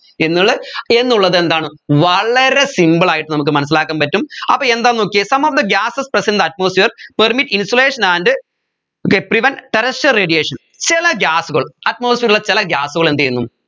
എന്നുള്ള എന്നുള്ളത് എന്താണ് വളരെ simple ആയിട്ട് നമ്മുക്ക് മനസ്സിലാക്കാൻ പറ്റും അപ്പോ എന്താന്ന് നോക്കിയേ some of the gases present in the atmosphere permit insulation and they prevent terrestrial radiation ചില gas കൾ atmosphere ൽ ഉള്ള ചില gas കൾ എന്ത് ചെയ്യുന്നു